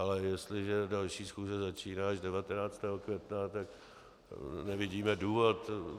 Ale jestliže další schůze začíná až 19. května, tak nevidíme důvod.